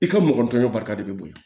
I ka mɔgɔtanya barika de bɛ bɔ yen